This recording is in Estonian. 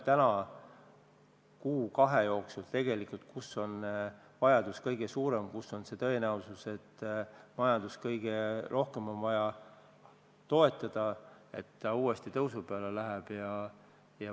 Vaatame kuu-kahe jooksul, kus on vajadus kõige suurem ja kust on majandust tõenäoliselt kõige rohkem toetada vaja, et see uuesti tõusu peale läheks.